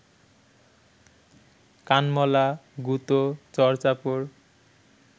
কানমলা, গুঁতো, চড় চাপড়